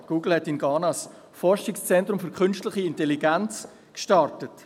Google hat in Ghana ein Forschungszentrum für künstliche Intelligenz gestartet.